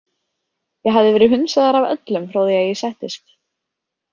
Ég hafði verið hunsaður af öllum frá því að ég settist.